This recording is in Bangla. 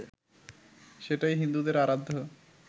সেটাই হিন্দুদের আরাধ্য